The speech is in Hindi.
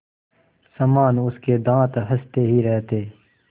समान उसके दाँत हँसते ही रहते